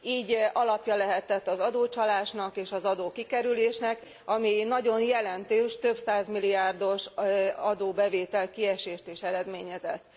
Így alapja lehetett az adócsalásnak és az adó kikerülésnek, ami nagyon jelentős, több százmilliárdos adóbevétel kiesést is eredményezett.